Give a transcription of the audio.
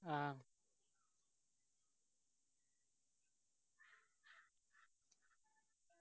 ആ